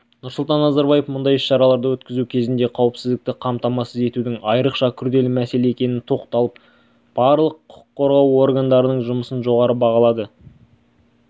нұрсұлтан назарбаев мұндай іс-шараларды өткізу кезінде қауіпсіздікті қамтамасыз етудің айрықша күрделі мәселе екеніне тоқталып барлық құқық қорғау органдарының жұмысын жоғары бағалады